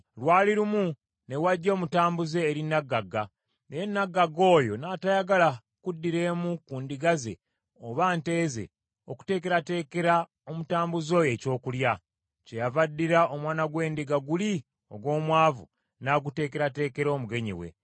“Lwali lumu ne wajja omutambuze eri nnaggagga, naye nnaggagga oyo n’atayagala kuddira emu ku ndiga ze oba nte ze okuteekerateekera omutambuze oyo ekyokulya. Kyeyava addira omwana gw’endiga guli ogw’omwavu n’aguteekerateekera omugenyi we.”